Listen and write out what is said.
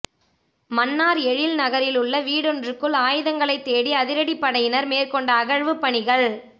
மன்னார் எழில் நகரிலுள்ள வீடொன்றுக்குள் ஆயுதங்களை தேடி அதிரடிப் படையினர் மேற்கொண்ட அகழ்வுப் பணிகள் தோ